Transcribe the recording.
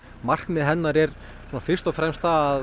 markmið hennar er fyrst og fremst að